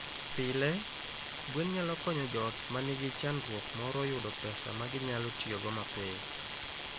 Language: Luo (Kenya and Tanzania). Pile, gwen nyalo konyo joot ma nigi chandruok moro yudo pesa ma ginyalo tiyogo mapiyo.